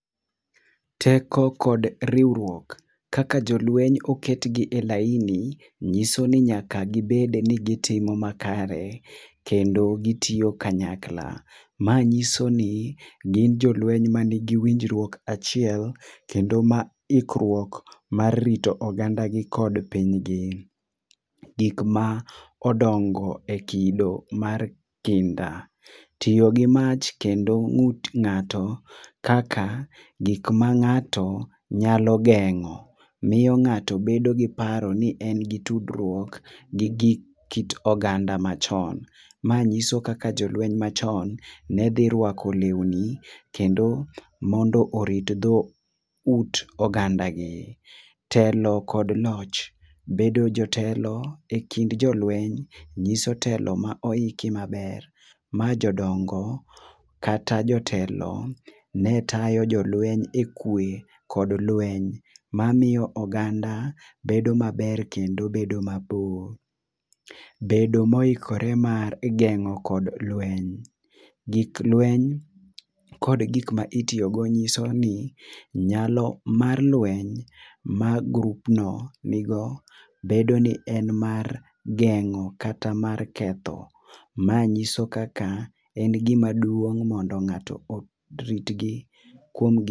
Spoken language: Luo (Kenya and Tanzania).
Teko kod riwruok, kaka jo lweny oket gi e laini ng'iso ni nyaka gi bed ni gi timo makare kendo gi tiyo kanyakla. Ma ng'iso ni gin jo lweny ma ni gi winjruok achiel kendo ma winjruok amr rito ogganda kod piny gi. Gik ma odongo e kido mar kinda, tiyo gi mach kendo ngut ngato kaka gik ma ngato nyalo gengo miyo ngato bedo gi paro ni en gi tudruok gi kit oganda ma chon. Ma ng'iso kaka jo lweny ma chon ne dhi rwako lewni kendo mondo orit dho ut oganda gi. Telo kod loch, bedo jotelo e kind jo lweny ngiso telo ma oiki ma ber. Ma jodongo kata jotelo, ne tayo jolweny e kwe kod klweny ma miyo oganda bedo ma ber kendo bedo ma bor. Bedo ma oikore kedo kod lweny, gik lweny kod gik ma itiyo go ng'iso ni nyalo mar lweny mar group no ni go bedo ni en mar geng'o kata mar ketho, ma ng'iso kaka en gi ma duong mondo ngato orit gi kuom gik.